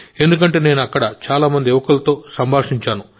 ఎందుకంటే నేను అక్కడ చాలా మంది యువకులతో సంభాషించాను